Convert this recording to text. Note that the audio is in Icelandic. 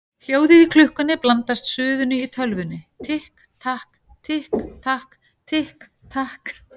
Hljóðið í klukkunni blandast suðinu í tölvunni: Tikk takk, tikk takk, tikk takk.